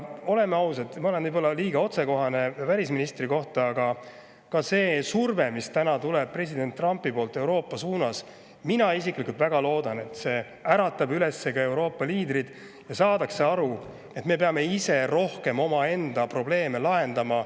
Ma olen võib-olla liiga otsekohene välisministri kohta, aga oleme ausad, see surve, mis tuleb täna president Trumpilt Euroopa suunas – mina isiklikult väga loodan, et see äratab üles Euroopa liidrid ja nad saavad aru, et me peame ise rohkem omaenda probleeme lahendama.